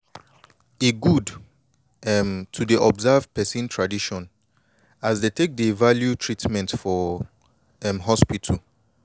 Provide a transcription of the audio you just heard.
e good um to dey observe person tradition as dey take dey value treatment for um hospital